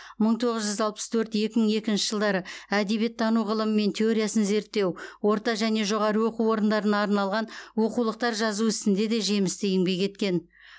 мың тоғыз жүз алпыс төрт екі мың екінші жылдары әдебиеттану ғылымы мен теориясын зерттеу орта және жоғары оқу орындарына арналған оқулықтар жазу ісінде де жемісті еңбек еткен